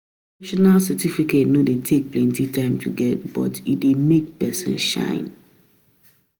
Professional certificate no dey take plenty time to get but e dey make pesin shine.